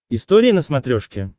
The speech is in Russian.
история на смотрешке